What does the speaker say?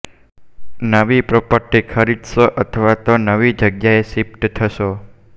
નવી પ્રોપર્ટી ખરીદશો અથવા તો નવી જગ્યાએ શિફ્ટ થશો